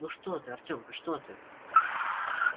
ну что ты артёмка что ты